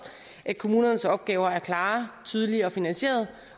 at kommunernes opgaver er klare tydelige og finansierede